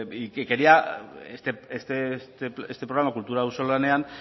y que quería que este programa kultura auzolanean